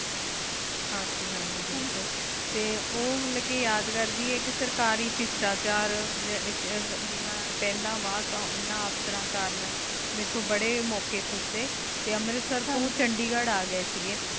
ਹਾਂਜੀ ਹਾਂਜੀ ਬਿਲਕੁਲ ਟੀ ਓਹ ਹਲਕੀ ਯਾਦ ਕਰਦੀ ਆਯ ਕੀ ਸਰਕਾਰੀ ਪਿਸ਼੍ਤਾਚਾਰ ਮੇਰਾ ਪਹਲਾ ਵ ਵ ਇਨਾ ਅਫਸਰ ਕਰਨ ਮੇਰੇਤੁ ਬਰੀ ਮੋਕ਼ੀ ਖੁਚੀ ਟੀ ਅੰਮ੍ਰਿਤਸਰ ਤੋ ਚੰਡੀਗੜ੍ਹ ਆ ਆਗਏ ਸੀਗੀ